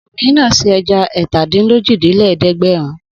Obìnrin náà se ẹja ẹ̀tàdínlójìlélẹ́ẹ̀dẹ́gbẹ̀rún.